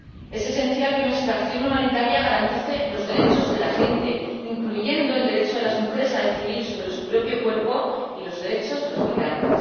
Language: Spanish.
Es esencial que nuestra acción humanitaria garantice los derechos de la gente, incluyendo el derecho de las mujeres a decidir sobre su propio cuerpo y los derechos de los migrantes.